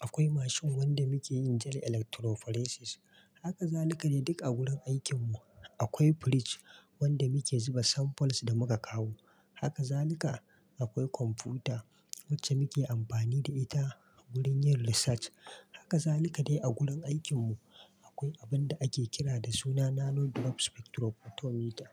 akwai mashin wanda muke yin gel electrophoresis. Haka zalika dai duk a gurin aikinmu. Akwai fridge wanda muke zuba samples da muka kawo. Haka zalika, akwai kwamfuta wacce muke amfani da ita gurin yin research. Haka zalika dai a gurin aikin mu. Akwai abun da ake kira da suna nano drop spectrophotometer.